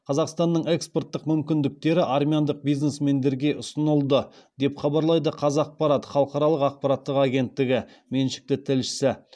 қазақстанның экспорттық мүмкіндіктері армяндық бизнесмендерге ұсынылды деп хабарлайды қазақпарат халықаралық ақпараттық агенттігі меншікті тілшісі